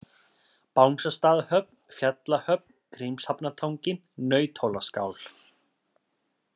Bangastaðahöfn, Fjallahöfn, Grímshafnartangi, Nauthólaskál